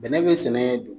Bɛnɛ be sɛnɛ de